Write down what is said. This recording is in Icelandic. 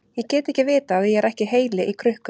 Ég get ekki vitað að ég er ekki heili í krukku.